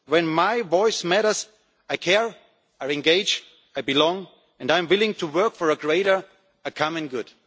When my voice matters, I care, I engage, I belong, and I am willing to work for a greater common good.